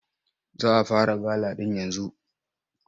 Za a fara gala ɗin yanzu.